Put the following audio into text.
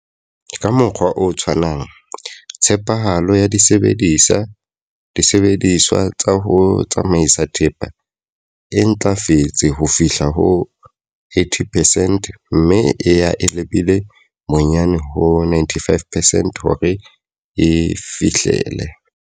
Ka mokgwa o tshwanang, tshepahalo ya disebediswa tsa ho tsamaisa thepa e ntlafetse ho fihla ho 80 percent mme e ya e lebile bonyane ho 95 percent hore e fihlele.